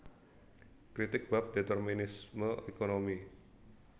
Kritik bab determinisme ékonomi